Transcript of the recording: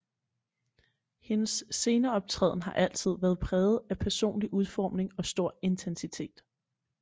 Hendes sceneoptræden har altid været præget af personlig udforming og stor intensitet